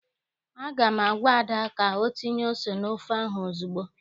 Aga m agwa Ada ka o tinye ose n'ofe ahụ ozugbo!